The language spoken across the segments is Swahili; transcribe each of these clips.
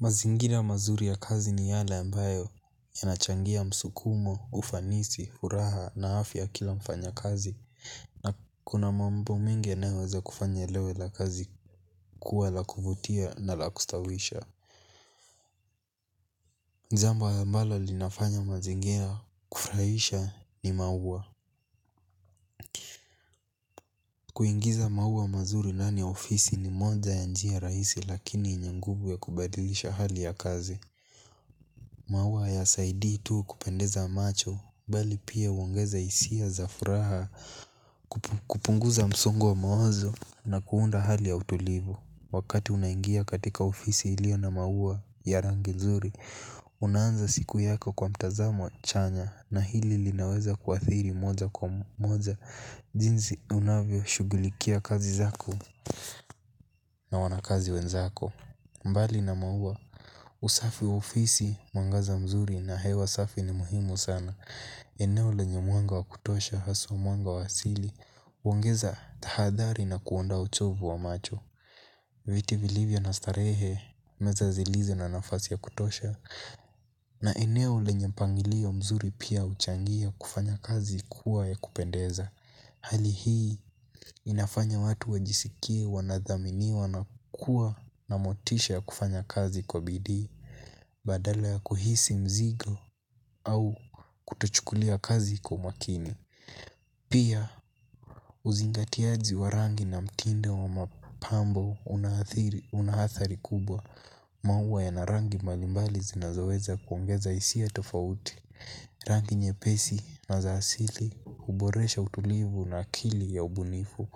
Mazingira mazuri ya kazi ni yale ambayo yanachangia msukumo, ufanisi, furaha na afya ya kila mfanya kazi. Na kuna mambo mengi yanayoweza kufanya leo ila kazi kuwa la kuvutia na la kustawisha. Jambo ambalo linafanya mazingia kufurahisha ni maua. Kuingiza maua mazuri ndani ya ofisi ni moja ya njia rahisi lakini yenye nguvu ya kubadilisha hali ya kazi. Maua hayasaidii tu kupendeza macho, bali pia huongeza hisia za furaha. Kupunguza msungo wa mawazo na kuunda hali ya utulivu. Wakati unaingia katika ofisi iliyo na maua ya rangi nzuri unaanza siku yako kwa mtazamo chanya na hili linaweza kuathiri moja kwa moja. Jinsi unavyoshughulikia kazi zako na wanakazi wenzako. Mbali na maua usafi wa ofisi mwangaza mzuri na hewa safi ni muhimu sana. Eneo lenye mwanga wa kutosha haswa mwanga wa asili huongeza tahadhari na kuondoa uchovu wa macho. Viti vilivyo na starehe meza zilizo na nafasi ya kutosha. Na eneo lenye mpangilio mzuri pia huchangia kufanya kazi kuwa ya kupendeza. Hali hii inafanya watu wajisikie wanathaminiwa na kuwa na motisha ya kufanya kazi kwa bidii. Badala ya kuhisi mzigo au kutochukulia kazi kwa umakini. Pia uzingatiaji wa rangi na mtindo wa mapambo una athari kubwa. Maua yana rangi mbalimbali zinazoweza kuongeza hisia tofauti. Rangi nyepesi na za asili huboresha utulivu na akili ya ubunifu.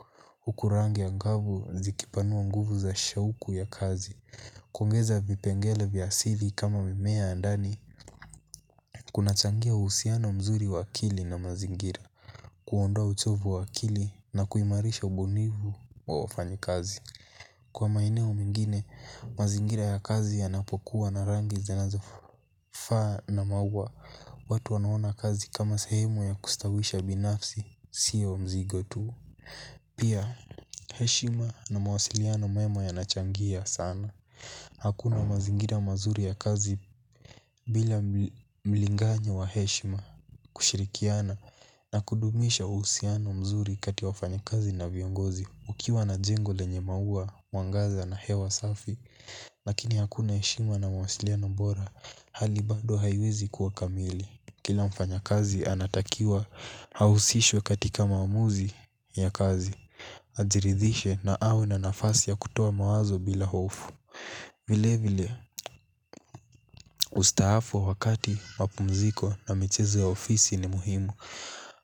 Huku rangi angavu zikipanua nguvu za shauku ya kazi. Kuongeza vipengele vya asili kama mimea ya ndani kunachangia uhusiano mzuri wa akili na mazingira. Kuondoa uchovu wa akili na kuimarisha ubunifu wa wafanyikazi. Kwa maeneo mengine, mazingira ya kazi yanapokuwa na rangi zinazofaa na maua watu wanaona kazi kama sehemu ya kustawisha binafsi sio mzigo tu. Pia heshima na mawasiliano mema yanachangia sana. Hakuna mazingira mazuri ya kazi. Bila mlinganyo wa heshima kushirikiana na kudumisha uhusiano mzuri kati ya wafanyikazi na viongozi ukiwa na jengo lenye maua mwangaza na hewa safi. Lakini hakuna heshima na mawasiliano bora hali bado haiwezi kuwa kamili. Kila mfanyakazi anatakiwa ahusishwe katika maamuzi ya kazi. Ajiridhishe na awe na nafasi ya kutoa mawazo bila hofu. Vile vile ustaafu wakati mapumziko na michezo ya ofisi ni muhimu.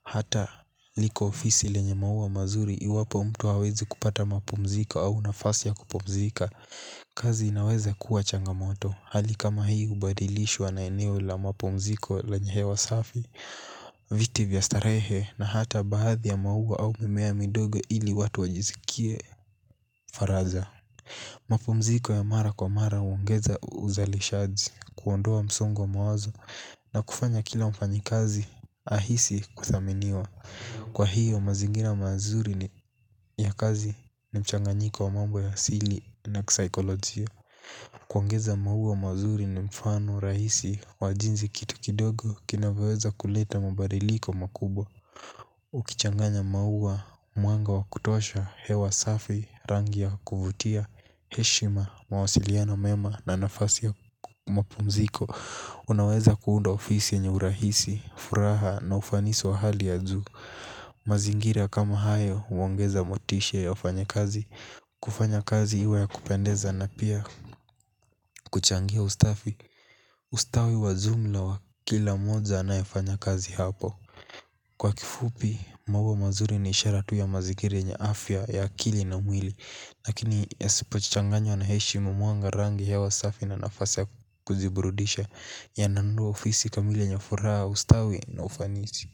Hata liko ofisi lenye maua mazuri iwapo mtu hawezi kupata mapumziko au nafasi ya kupumzika. Kazi inaweza kuwa changamoto. Hali kama hii hubadilishwa na eneo la mapumziko lenye hewa safi. Viti vya starehe na hata baadhi ya maua au mimea midogo ili watu wajiskie faraja. Mapumziko ya mara kwa mara huongeza uzalishaji kuondoa msongo wa mawazo na kufanya kila mfanyikazi ahisi kuthaminiwa. Kwa hiyo mazingira mazuri ni ya kazi ni mchanganyiko wa mambo ya asili na kisaikolojia. Kuongeza maua mazuri ni mfano rahisi wa jinsi kitu kidogo kinavyoweza kuleta mabadiliko makubwa. Ukichanganya maua, mwanga wa kutosha, hewa safi, rangi ya, kuvutia, heshima, mawasiliano mema na nafasi ya mapumziko unaweza kuunda ofisi yenye urahisi, furaha na ufanisi wa hali ya juu. Mazingira kama hayo huongeza motisha ya wafanyakazi. Kufanya kazi iwe ya kupendeza na pia. Kuchangia ustawi wa jumla wa kila mmoja anayefanya kazi hapo. Kwa kifupi, maua mazuri ni ishara tu ya mazingira yenye afya ya akili na mwili. Lakini yasipochanganywa na heshima mwanga rangi hewa safi na nafasi ya kujiburudisha yananunua ofisi kamili yenye furaha ustawi na ufanisi.